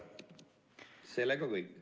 Sellega kõik.